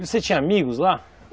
Você tinha amigos lá?